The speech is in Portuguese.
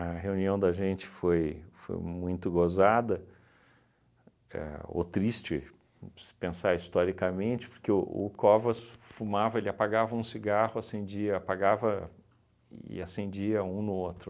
A reunião da gente foi foi muito gozada, ahn ou triste, se pensar historicamente, porque o Covas f fumava, ele apagava um cigarro, acendia, apagava e acendia um no outro.